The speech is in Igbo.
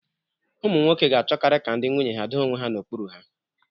Ụmụ nwoke ga-achọkarị ka ndị nwunye ha doo onwe ha n'okpuru ha.